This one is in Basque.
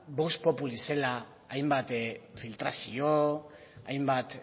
vox popoli zela hainbat filtrazio hainbat